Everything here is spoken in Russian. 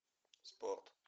спорт